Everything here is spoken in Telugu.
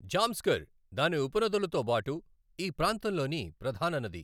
జాంస్కర్, దాని ఉపనదులుతో బాటు ఈ ప్రాంతంలోని ప్రధాన నది.